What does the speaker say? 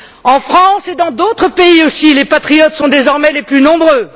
En France et dans d'autres pays aussi, les patriotes sont désormais les plus nombreux.